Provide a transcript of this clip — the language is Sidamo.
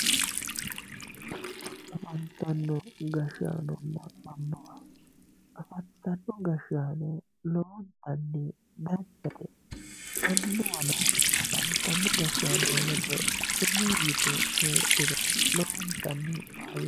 afantino gashshaanonna annuwa afantino gashshaano lowontanni danchate annuwano afantino gashshaano ledo sumuu yite heedhuro lowontanni faayyaho.